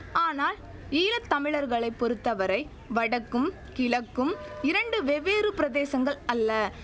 ஆனால் ஈழ தமிழர்களை பொறுத்தவரை வடக்கும் கிழக்கும் இரண்டு வெவ்வேறு பிரதேசங்கள் அல்ல